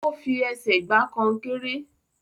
O fi ẹsẹ̀ gba konkéré.